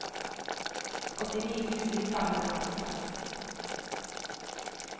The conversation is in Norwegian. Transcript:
åttini tusen fem hundre og femtiseks